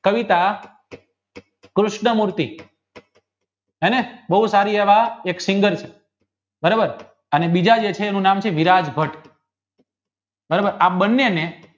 ફલિત કૃષ્ણમૂર્તિ હેને બવ સારી વાળા એક બરોબર અને બીજા દેસરોનું નામ છે વિરાગ ભટ્ટ બરોબર આ બંને ને